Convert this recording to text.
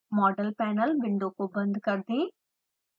model panel window को बंद कर दें